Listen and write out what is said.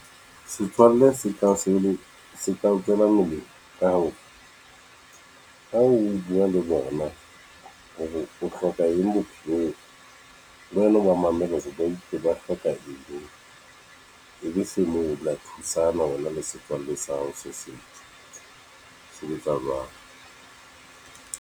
Setswalle se ka se le o tswela molemo ka hore ha o buwa le bona hore o hloka eng bophelong le wena o ba mamele hore ba itse ba hloka eng e be se moo le ya thusana wena le setswalle sa hao se setso se sebetsa jwalo.